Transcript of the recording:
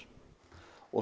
og